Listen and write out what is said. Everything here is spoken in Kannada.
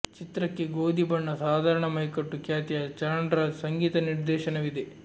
ಚಿತ್ರಕ್ಕೆ ಗೋಧಿ ಬಣ್ಣ ಸಾಧಾರಣ ಮೈಕಟ್ಟು ಖ್ಯಾತಿಯ ಚರಣ್ರಾಜ್ ಸಂಗೀತ ನಿರ್ದೇಶನವಿದೆ